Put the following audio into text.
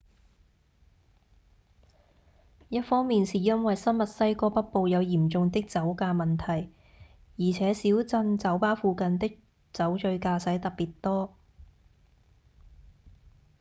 一方面是因為新墨西哥北部有嚴重的酒駕問題而且小鎮酒吧附近的酒醉駕駛特別多